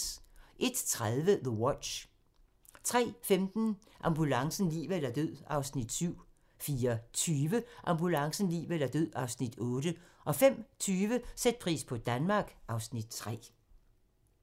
01:30: The Watch 03:15: Ambulancen - liv eller død (Afs. 7) 04:20: Ambulancen - liv eller død (Afs. 8) 05:20: Sæt pris på Danmark (Afs. 3)